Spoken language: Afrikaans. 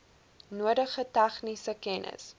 nodige tegniese kennis